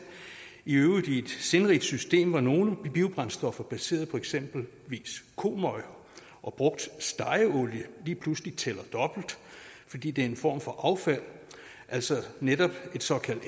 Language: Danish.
i øvrigt i et sindrigt system hvor nogle biobrændstoffer baseret på eksempelvis komøg og brugt stegeolie lige pludselig tæller dobbelt fordi det er en form for affald altså netop et såkaldt